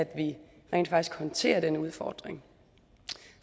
vi rent faktisk håndterer den udfordring